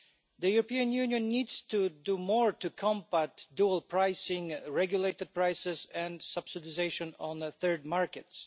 The European Union needs to do more to combat dual pricing, regulated prices and subsidisation on third markets.